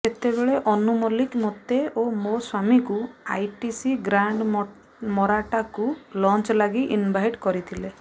ସେତେବେଳେ ଅନୁ ମଲ୍ଲିକ ମତେ ଓ ମୋ ସ୍ୱାମୀଙ୍କୁ ଆଇଟିସି ଗ୍ରାଣ୍ଡ ମରାଟ୍ଟାକୁ ଲଞ୍ଚ୍ ଲାଗି ଇନଭାଇଟ୍ କରିଥିଲେ